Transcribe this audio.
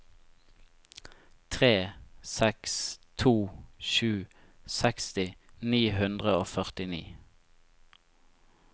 tre seks to sju seksti ni hundre og førtini